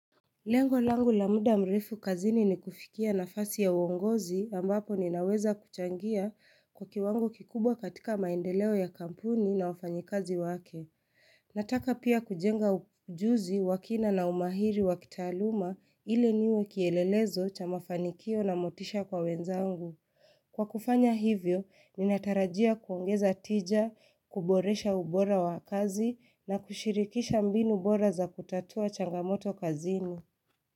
Lengo langu la muda mrefu kazini ni kufikia na fasi ya uongozi ambapo ninaweza kuchangia kwa kiwango kikubwa katika maendeleo ya kampuni na ufanyikazi wake. Nataka pia kujenga ujuzi wakina na umahiri wa kitaaluma ili niwe kielelezo cha mafanikio na motisha kwa wenzangu. Kwa kufanya hivyo, ninatarajia kuongeza tija, kuboresha ubora wa kazi na kushirikisha mbinu bora za kutatua changamoto kazini.